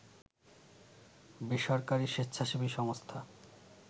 বেসরকারি স্বেচ্ছাসেবী সংস্থা